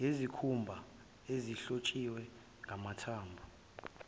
ngezikhumba ezihlotshiswe ngamathambo